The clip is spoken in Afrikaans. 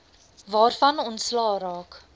waarvan ontslae geraak